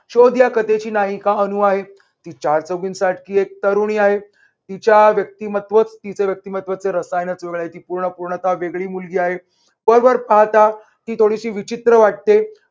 शोध या कथेची नायिका अनु आहे. ति चार चौघींसाठी एक तरुणी आहे. तिच्या व्यक्तिमत्वच तिच्या व्यक्तिमत्वच रसायनच वेगळं आहे. ती पूर्ण पूर्णतः वेगळी मुलगी आहे. वरवर पाहता ती थोडी विचित्र वाटते.